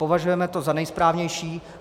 Považujeme to za nejsprávnější.